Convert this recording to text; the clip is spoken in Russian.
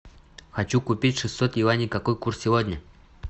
хочу купить шестьсот юаней какой курс сегодня